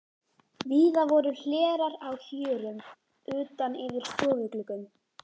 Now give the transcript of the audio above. Víða voru hlerar á hjörum utan yfir stofugluggum.